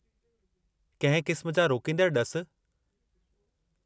कंहिं क़िस्म जा रोकींदड़ ड॒सु?